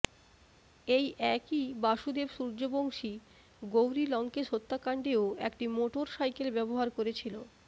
এই একই বাসুদেব সূর্যবংশী গৌরী লঙ্কেশ হত্যাকাণ্ডেও একটি মোটর সাইকেল ব্যবহার করেছিল